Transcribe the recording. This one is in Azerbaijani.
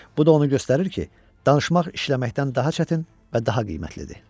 Bu da onu göstərir ki, danışmaq işləməkdən daha çətin və daha qiymətlidir.